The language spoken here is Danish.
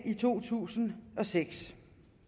i to tusind og seks